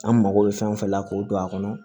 An mago bɛ fɛn o fɛn la k'o don a kɔnɔ